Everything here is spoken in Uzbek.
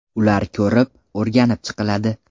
Ular ko‘rib, o‘rganib chiqiladi.